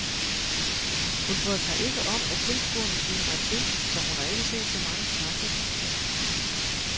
Hun bryder sig ikke om at tilskuerne sviner mig til, så hun har ikke set så mange kampe.